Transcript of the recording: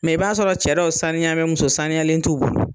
Mɛ i b'a sɔrɔ cɛ dɔw saniya bɛ muso saniyalen t'u bolo.